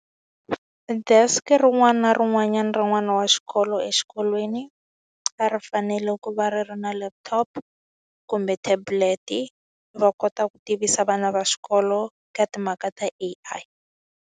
Desk-a rin'wana na rin'wanyana rin'wana wa xikolo exikolweni, a ri fanele ku va ri ri na laptop, kumbe tablet-i va kota ku tivisa vana va xikolo eka timhaka ta A_I.